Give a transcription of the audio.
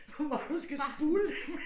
Hvor du skal spule dem